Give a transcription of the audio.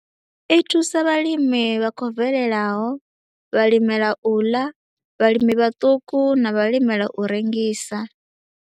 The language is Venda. I thusa vhalimi vha khou bvelelaho, vhalimela u ḽa, vhalimi vhaṱuku na vhalimela u rengisa.